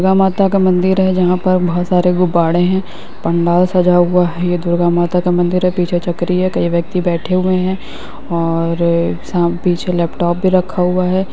दुर्गा माता का मंदिर है जहां पर बहोत सारे गुबारे हैं। पंडाल सजा हुआ है। दुर्गा माता का मंदिर है पीछे चकरी है कई व्यक्ति बैठे हुए है और साम पीछे लैपटॉप भी रखा हुआ है।